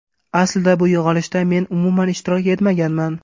Aslida bu yig‘ilishda men umuman ishtirok etmaganman.